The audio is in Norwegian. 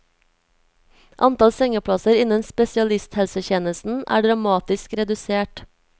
Antall sengeplasser innen spesialisthelsetjenesten er dramatisk redusert.